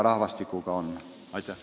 Aitäh!